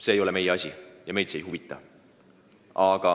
See ei ole meie asi ja see meid ei huvita.